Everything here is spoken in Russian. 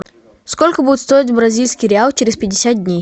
сколько будет стоить бразильский реал через пятьдесят дней